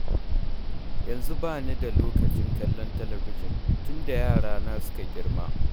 Yanzu ba ni da lokacin kallon talabijin, tun da yarana suka girma.